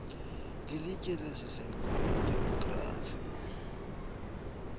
lilitye lesiseko ledemokhrasi